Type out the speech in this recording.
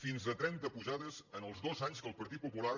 fins a trenta pujades els dos anys que el partit popular